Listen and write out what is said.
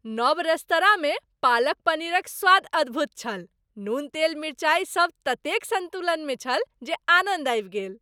नव रेस्तराँमे पालक पनीरक स्वाद अद्भुत छल, नून तेल मिरचाइ सब ततेक सन्तुलनमे छल जे आनन्द आबि गेल।